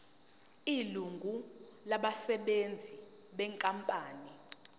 ilungu labasebenzi benkampani